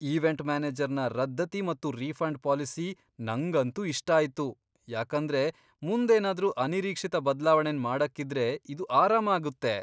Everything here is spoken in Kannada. ಈವೆಂಟ್ ಮ್ಯಾನೇಜರ್ನ ರದ್ದತಿ ಮತ್ತು ರಿಫಂಡ್ ಪಾಲಿಸಿ ನಂಗಂತೂ ಇಷ್ಟ ಆಯ್ತು ಯಾಕಂದ್ರೆ ಮುಂದ್ ಏನಾದ್ರು ಅನಿರೀಕ್ಷಿತ ಬದ್ಲಾವಣೆನ್ ಮಾಡಕ್ ಇದ್ರೆ ಇದು ಆರಾಮ ಆಗುತ್ತೆ.